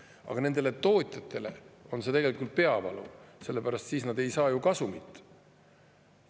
Aga tootjatele on see tegelikult peavalu, sellepärast et siis nad ei saa ju kasumit.